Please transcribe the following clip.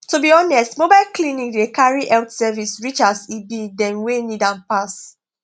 to be honest mobile clinic dey carry health service reachas e be dem wey need am pass